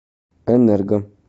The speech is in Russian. энерго